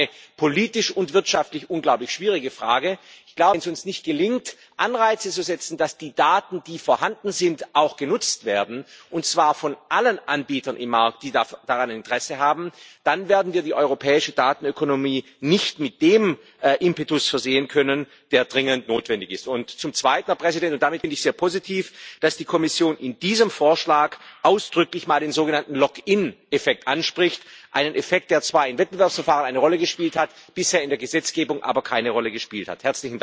Es ist auch eine politisch und wirtschaftlich unglaublich schwierige Frage. Wenn es uns nicht gelingt, Anreize zu setzen, dass die Daten, die vorhanden sind, auch genutzt werden, und zwar von allen Anbietern im Markt, die daran Interesse haben, dann werden wir die europäische Datenökonomie nicht mit dem Impetus versehen können, der dringend notwendig ist. Und zum Zweiten finde ich sehr positiv, dass die Kommission in diesem Vorschlag ausdrücklich mal den sogenannten Lock in Effekt anspricht einen Effekt, der zwar in Wettbewerbsverfahren eine Rolle gespielt hat, in der Gesetzgebung bisher aber keine Rolle gespielt hat.